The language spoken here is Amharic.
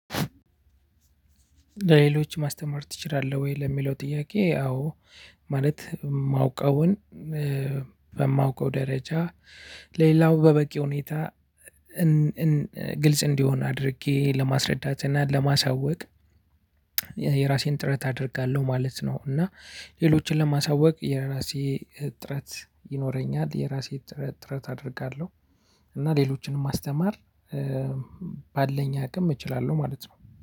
ለሌሎች ማስተማር ትችላለህ ወይ ለሚለው ጥያቄ? አዎ ማለት ማውቀውን እ በማውቀው ደረጃ ለሌላው በበቂ ሁኔታ እን እን ግልጽ እንዲሆን አድርጌ ለማስረዳት እና ለማሳወቅ የራሴን ጥረት አደርጋለሁ ማለት ነው። እና ሌሎችን ለማሳወቅ የራሴ ጥረት ይኖረኛል የራሴ ጥረት አደርጋለሁ። እና ሌሎችንም ማስተማር ባለኝ አቅም እችላለሁ ማለት ነው።